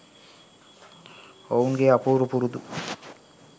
ඔවුන්ගේ අපූරු පුරුදු